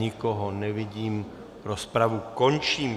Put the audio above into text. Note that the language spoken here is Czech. Nikoho nevidím, rozpravu končím.